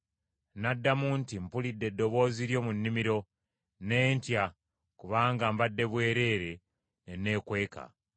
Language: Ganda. N’addamu nti, “Mpulidde eddoboozi lyo mu nnimiro, ne ntya, kubanga mbadde bwereere; ne nneekweka.”